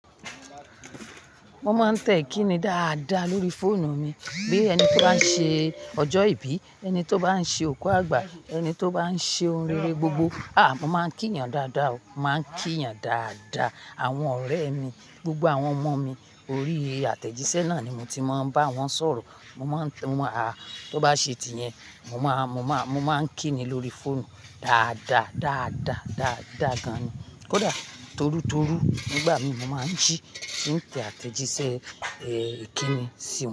Mo máa ń tẹ ikíni dáadáa lórí fóònù mi. Bí ẹni tó bá ń ṣe ọjọ́ ìbí, ẹni tó bá ń ṣe òkú àgbà, ẹni tó bá ń ṣe ohun rere gbogbo, à, mo máa ń kí yàn dáadáa o. Màá ń kiyan dáadáa. Àwọn ọ̀rẹ́ mi, gbogbo àwọn ọmọ mi, orí àtẹ̀jíṣẹ́ náà ni mo ti máa ń bá wọn sọ̀rọ̀. Mo maá ń tẹ mo maa n há, tó bá ṣe ti iyẹn, mo máa, mo máa, mo máa ń kínni lórí fóònù dáadáa, dáadáa, dáadáa gan ni. Kódà torútorú nígbà mi mo máa ń jí, tí n tẹ àtẹ̀jíṣẹ́, ẹ, ikínni sí.